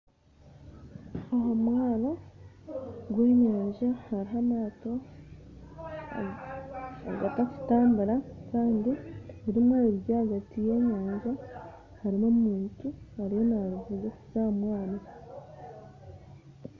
Ahamwaaro gw'enyanja hariho amaato agatarikutambura kandi rimwe riri ahagati y'enyanja harimu omuntu ariyo narivuga kuza ahamwaaro.